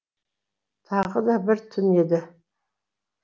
тағы да бір түн еді